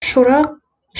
шорақ